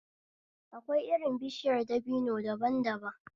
Akwai irin bishiyar dabino daban daban